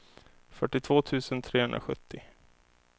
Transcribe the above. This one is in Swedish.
fyrtiotvå tusen trehundrasjuttio